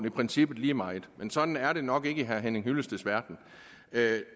i princippet lige meget men sådan er det nok ikke i herre henning hyllesteds verden